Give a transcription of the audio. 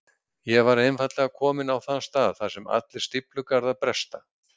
Ég var einfaldlega kominn á þann stað þar sem allir stíflugarðar bresta.